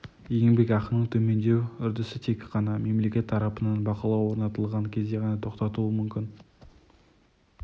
еңбекақының төмендеу үрдісі тек қана мемлекет тарапынан бақылау орнатылған кезде ғана тоқтауы мүмкін